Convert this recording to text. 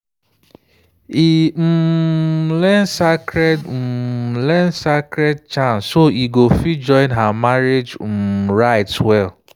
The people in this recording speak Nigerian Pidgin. e um learn sacred um learn sacred chants so e go fit join her marriage um rites well.